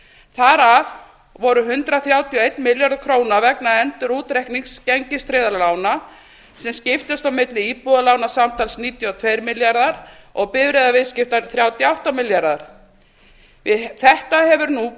þar af voru hundrað þrjátíu og einn milljarður króna vegna endurútreiknings gengistryggðra lána sem skiptust á milli íbúðalána samtals níutíu og tveir milljarðar og bifreiðaviðskipta þrjátíu og átta milljarðar við þetta hefur nú